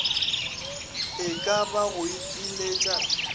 e ka ba go ipiletša